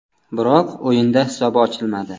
Biroq o‘yinda hisob ochilmadi.